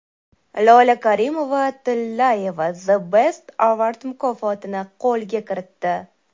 Lola Karimova-Tillayeva The Best Award mukofotini qo‘lga kiritdi.